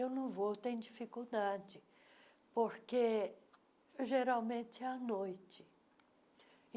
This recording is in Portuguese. Eu não vou, eu tenho dificuldade, porque geralmente é à noite.